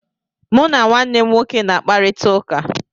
Mụ na nwanne m nwoke na-akparịta ụka.